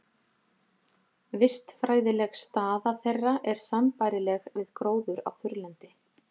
Vistfræðileg staða þeirra er sambærileg við gróður á þurrlendi.